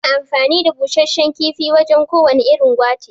Ana amfani da Bushashshan kifi wajan ko wane irin gwate